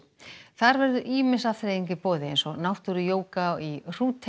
þar verður ýmis afþreying í boði eins og náttúruyoga í